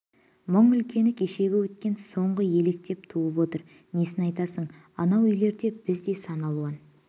мұң үлкені кешегі өткен соңғы өлектен туып отыр несін айтасың анау үйлерде біз де сан алуан